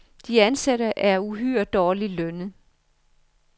De ansatte er uhyre dårligt lønnet.